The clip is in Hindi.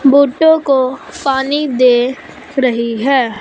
बूटों को पानी दे रहीं हैं।